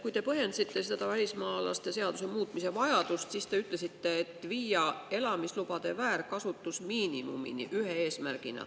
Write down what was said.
Kui te põhjendasite seda välismaalaste seaduse muutmise vajadust, siis te ühe eesmärgina ütlesite, et viia elamislubade väärkasutus miinimumini.